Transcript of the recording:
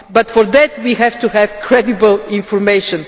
For that we have to have credible information.